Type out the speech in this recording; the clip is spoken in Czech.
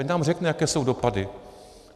Ať nám řekne, jaké jsou dopady.